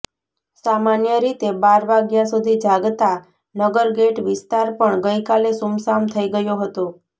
સામાન્ય રીતે બાર વાગ્યા સુધી જાગતા નગરગેઇટ વિસ્તાર પણ ગઇકાલે સુમસામ થઇ ગયો હતો